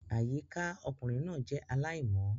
Àyíká ọkùnrin náà jẹ́ aláìmọ́